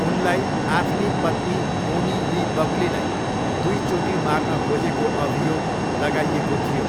उनलाई आफ्नी पत्नी बोनी ली बक्लीलाई दुईचोटि मार्न खोजेको अभियोग लगाइएको थियो।